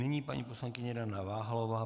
Nyní paní poslankyně Dana Váhalová.